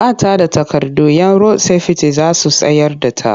Ba ta da takardu 'yan rod-sefiti za su tsayar da ta.